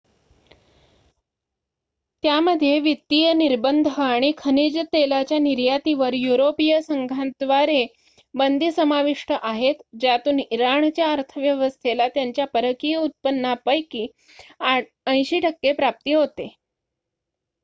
त्यामध्ये वित्तीय निर्बंध आणि खनिज तेलाच्या निर्यातीवर युरोपिय संघाद्वारे बंदी समाविष्ट आहेत ज्यातून इराणच्या अर्थव्यवस्थेला त्यांच्या परकीय उत्पन्नापैकी 80% प्राप्ती होते